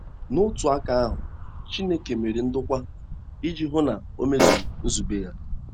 N’otu aka ahụ, Chineke mere ndokwa iji hụ na o mezuru nzube ya.